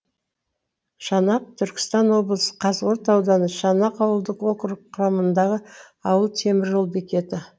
шанақ түркістан облысы қазығұрт ауданы шанақ ауылдық округі құрамындағы ауыл темір жол бекеті